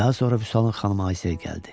Daha sonra Vüsalın xanımı Aysel gəldi.